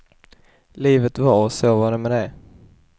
Livet va, och så var det med de.